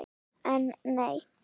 En nei!